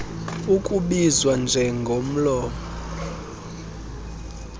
ukubizwa njengo omlomo